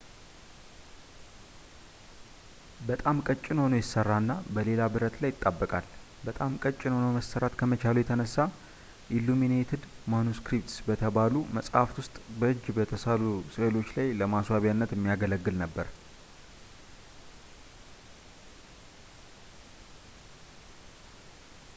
በጣም ቀጭን ሆኖ ይሰራና እና በሌላ ብረት ላይ ይጣበቃል በጣም ቀጭን ሆኖ መሰራት ከመቻሉ የተነሳ ኢሉሚኔትድ ማኑስክሪፕትስ በተባሉ መጻሕፍት ውስጥ በእጅ የተሳሉ ስዕሎች ላይ ለማስዋቢያነት የሚያገለግል ነበር